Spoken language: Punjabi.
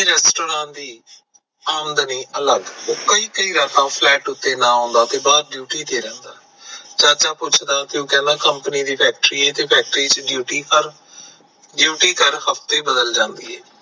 ਆਮਦਨੀ ਅਲੱਗ ਉਹ ਕਈ ਕਈ ਰਾਤਾਂ flat ਤੇ ਨਾ ਆਉਂਦਾ ਤੇ ਬਾਹਰ duty ਤੇ ਰਹਿੰਦਾ ਚਾਚਾ ਪੁੱਛਦਾ ਤੇ ਉਹ ਕਹਿੰਦਾ company ਦੀ ਫੈਕਟਰੀ ਐ ਤੇ ਫੈਕਟਰੀ ਚ duty ਹਰ duty ਹਫਤੇ ਬਦਲ ਜਾਂਦੀ ਐ